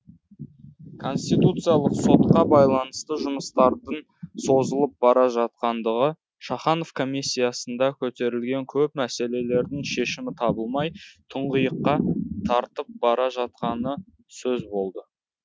конституциялық сотқа байланысты жұмыстардың созылып бара жатқандығы шаханов комиссиясында көтерілген көп мәселердің шешімі табылмай тұңғиыққа тартып бара жатқаны сөз болды